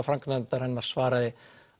framkvæmdanefndarinnar svaraði